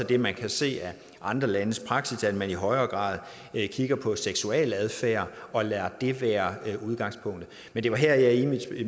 det man kan se af andre landes praksis at man i højere grad kigger på seksualadfærd og lader det være udgangspunktet men det var her jeg i